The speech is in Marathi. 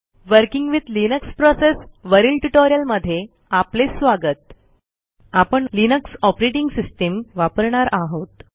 वर्किंग विथ लिनक्स प्रोसेस वरील ट्युटोरियलमध्ये आपले स्वागत आपण लिनक्स ऑपरेटिंग सिस्टीम वापरणार आहोत